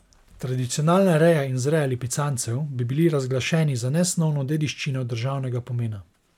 Tradicionalna reja in vzreja lipicancev bi bili razglašeni za nesnovno dediščino državnega pomena.